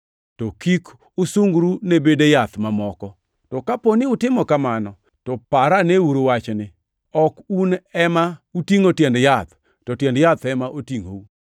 to kik usungru ne bede yath mamoko. To kapo ni utimo kamano, to paraneuru wachni: Ok un ema utingʼo tiend yath, to tiend yath ema otingʼou.